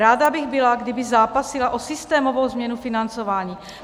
Ráda bych byla, kdyby zápasila o systémovou změnu financování.